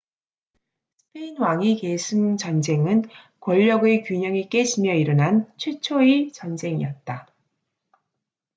스페인 왕위 계승 전쟁은 권력의 균형이 깨지며 일어난 최초의 전쟁이었다